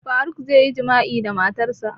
Faruk zai yi jima'i da matarsa